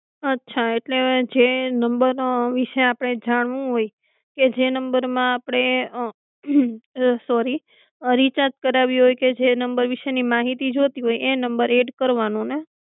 અચ્છા એટલે જે નમ્બર વિષે આપણે જાણવું હોય એ જે નમ્બર આપણે સોરી રીકેરજ કરાવી હોય કે જે નમ્બરના વિસ્ય ની માહિતી જોતી હોય એદ કરવાનો ને?